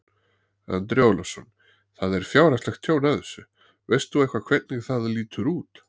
Andri Ólafsson: Það er fjárhagslegt tjón af þessu, veist þú eitthvað hvernig það lítur út?